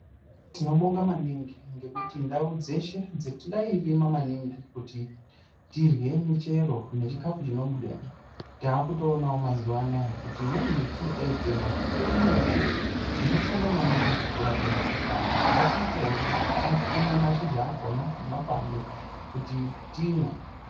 Tinobonga maningi ngekuti ndau dzeshe dzatairima maningi kuti tirye muchero nechikafu chinobudamo takutonawo mazuwa anaya kuti imweni muti yataitema itori muti inoshanda maningi kurape mukuhlani ngatiitore tikume mashizha akona nemakwande kuti timwe .